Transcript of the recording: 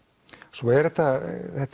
svo er þetta